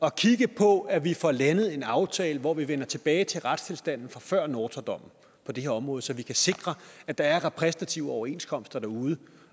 at kigge på at vi får lavet en aftale hvor vi vender tilbage til retstilstanden fra før nortra dommen på det her område så vi kan sikre at der er repræsentative overenskomster derude